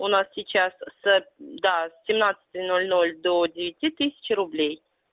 у нас сейчас с да с семнадцати ноль ноль до девяти тысячи рублей